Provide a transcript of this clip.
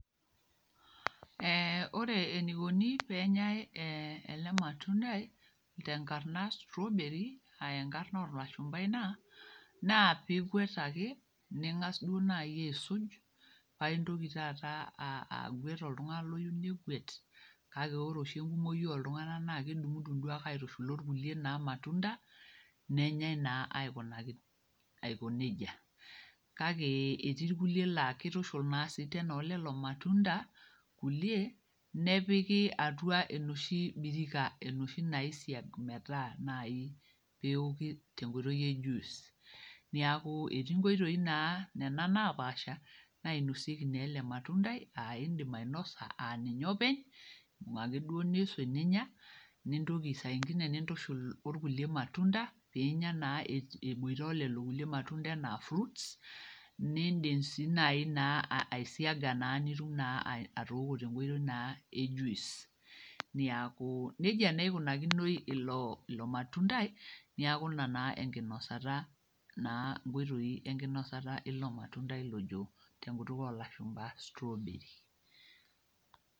Ee ore enikoni tenenyae ele matundai tenkarna strawberry aa enkarna olashumba ina , naa pingwet ake, ningas duo naji aisuj paintoki taata agwet oltungani oyieu negwet, kake ore oshi enkumoi oltunganak naa kedungdung duo aitushul orkulie matunda ,nenyae naa aikuna nejia. Kake etii irkulie laa kitushul oleleo matunda kulie , nepiki atua enoshi birika enoshi naisiagi metooki metaa naji tenkoitoi e juice. Niaku etii nkoitoi naa nena naapasha nainosieki naa ele matundai aa indim ainosa aa ninye openy waa ake duo nisuj ninya , nitoki saa ingine nintushul orkulie matunda pinya naa eboito olelo matunda anaa fruits, nindim sii nai aisiaga niok naa tenkoitoi e juice . Niaku nejia naa ikunakinoi ilo matundai niaku ina naa enkinosa naa ilo matundai ojo tenkutuk olashumba strawberry.